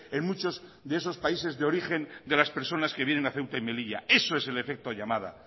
en muchos de esos países de origen de las personas que vienen a ceuta y melilla eso es el efecto llamada